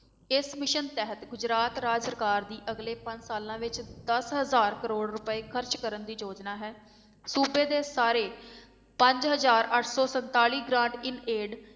ਇਸ mission ਤਹਿਤ ਗੁਜਰਾਤ ਰਾਜ ਸਰਕਾਰ ਦੀ ਅਗਲੇ ਪੰਜ ਸਾਲਾਂ ਵਿੱਚ ਦਸ ਹਜ਼ਾਰ ਕਰੌੜ ਰੁਪਏ ਖ਼ਰਚ ਕਰਨ ਦੀ ਯੋਜਨਾ ਹੈ, ਸੂਬੇ ਦੇ ਸਾਰੇ ਪੰਜ ਹਜ਼ਾਰ ਅੱਠ ਸੌ ਸੰਤਾਲੀ grant in aid